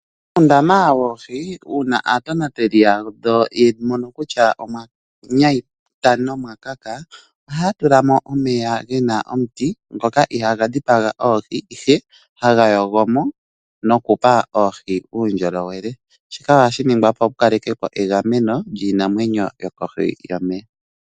Muundama woohi uuna aatonateli yawo ya mono kutya omwa nyayipala nomwa kaka ohaya tula mo omeya gena omuti ngoka itaaga dhipaga, ihe ohaga yogo mo noku pa oohi uundjolowele, shika ohashi ningwa opo shi kale ke po egameno lyiinamwenyo yokohi yomeya.